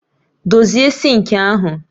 Dozie sinki ahu